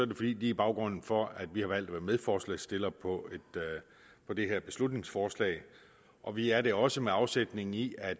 det fordi de er baggrunden for at vi har valgt at være medforslagsstiller på det her beslutningsforslag og vi er det også med afsæt i at